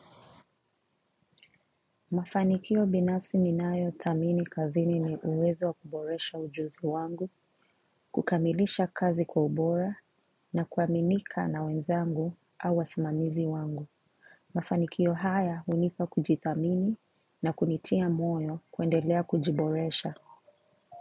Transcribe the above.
Mafanikio binafsi ninayo thamini kazini ni uwezo wa kuboresha ujuzi wangu, kukamilisha kazi kwa ubora na kuaminika na wenzangu au wasimamizi wangu. Mafanikio haya hunipa kujithamini na kunitia moyo kuendelea kujiboresha.